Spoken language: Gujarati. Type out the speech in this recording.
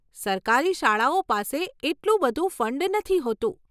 સરકારી શાળાઓ પાસે એટલું બધું ફંડ નથી હોતું.